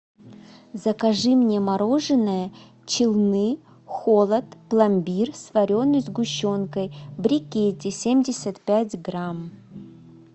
закажи мне мороженое челны холод пломбир с вареной сгущенкой в брикете семьдесят пять грамм